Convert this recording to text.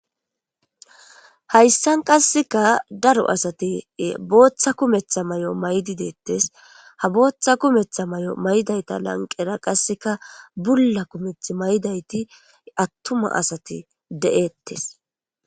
hayssan qasseka daro asati booththa kumetha may7o maydi deettes ha booththa kumetha may7o maydayta lanqera qasseka bulla kumeth maydayti attuma asati de7ettes